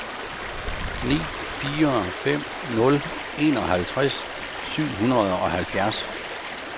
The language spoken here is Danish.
ni fire fem nul enoghalvtreds syv hundrede og halvfjerds